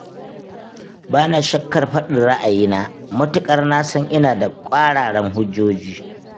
Ba na shakkar faɗin ra'ayina, matuƙar na san ina da ƙwararan hujjoji.